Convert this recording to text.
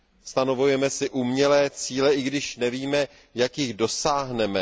Stanovujeme si umělé cíle, i když nevíme, jak jich dosáhneme.